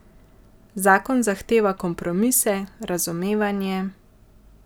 Zakon zahteva kompromise, razumevanje...